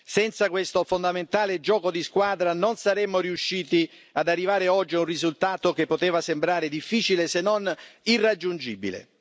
Senza questo fondamentale gioco di squadra non saremmo riusciti ad arrivare oggi a un risultato che poteva sembrare difficile, se non irraggiungibile.